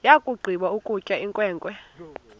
yakugqiba ukutya inkwenkwe